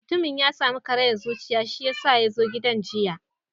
Mutumin ya samu kariyar zuciya shiyasa ya zo gidan giya.